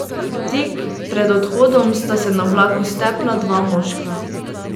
Tik pred odhodom sta se na vlaku stepla dva moška.